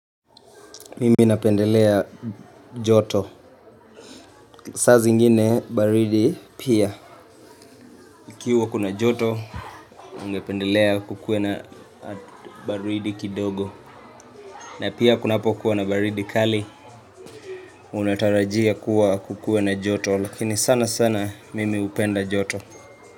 Mimi napendelea joto saa zingine baridi pia Ikiwa kuna joto ungependelea kukuwe na baridi kidogo na pia kunapo kuwa na baridi kali Unatarajia kuwa kukuwe na joto Lakini sana sana mimi hupenda joto.